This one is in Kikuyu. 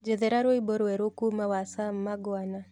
njethera rwĩmbo rweru kũũma wa sam magwana